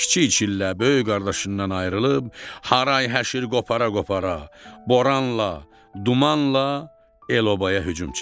Kiçik çillə böyük qardaşından ayrılıb, haray həşir qopara-qopara, boranla, dumanla el obaya hücum çəkdi.